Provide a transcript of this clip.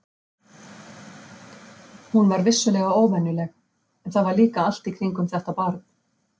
Hún var vissulega óvenjuleg, en það var líka allt í kringum þetta barn.